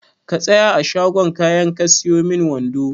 Ka tsaya a shagon kayan ka siyo min wando.